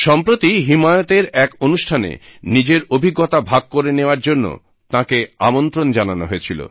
সম্প্রতি হিমায়তের এক অনুষ্ঠানে নিজের অভিজ্ঞতা ভাগ করে নেওয়ার জন্য তাঁকে আমন্ত্রণ জানানো হয়েছিল